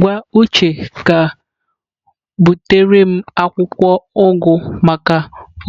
Gwa uche ka butere m akwụkwọ ugu maka